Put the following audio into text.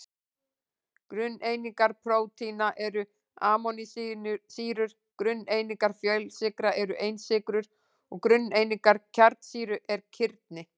Grunneiningar prótína eru amínósýrur, grunneiningar fjölsykra eru einsykrur og grunneiningar kjarnasýra eru kirni.